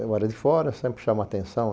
Eu era de fora, sempre chama a atenção.